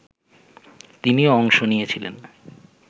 তিনিও অংশ নিয়েছিলেন